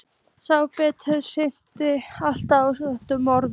Sá berhöfðaði staglaðist alltaf á sömu orðunum